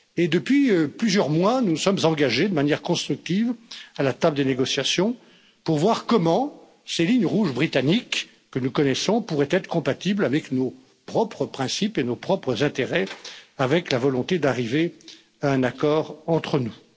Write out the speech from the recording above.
Depuis plusieurs mois, nous nous sommes engagés de manière constructive à la table des négociations pour voir comment ces lignes rouges britanniques que nous connaissons pourraient être compatibles avec nos propres principes et nos propres intérêts, avec la volonté d'arriver à un accord entre nous.